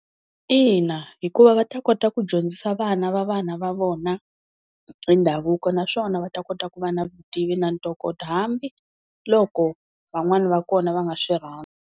Ina hikuva va ta kota ku dyondzisa vana va vana va vona hi ndhavuko naswona va ta kota ku va na vutivi na ntokoto hambiloko van'wana va kona va nga swi rhandzi.